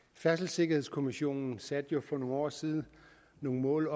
færdselssikkerhedskommissionen satte jo for nogle år siden nogle mål